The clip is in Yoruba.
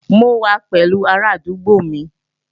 Mo wà pẹ̀lú arádúgbò mi